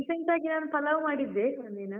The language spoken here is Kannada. Recent ಆಗಿ ನಾನು ಪಲಾವ್ ಮಾಡಿದ್ದೆ, ಒಂದಿನ.